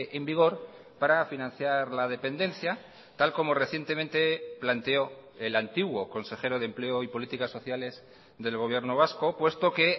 en vigor para financiar la dependencia tal como recientemente planteó el antiguo consejero de empleo y políticas sociales del gobierno vasco puesto que